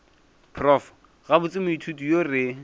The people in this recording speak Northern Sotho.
prof gabotse moithuti yo re